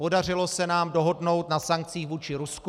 Podařilo se nám dohodnout na sankcích vůči Rusku.